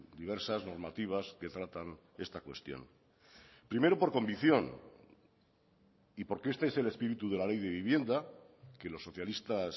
diversas normativas que tratan esta cuestión primero por convicción y porque este es el espíritu de la ley de vivienda que los socialistas